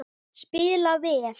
Spila vel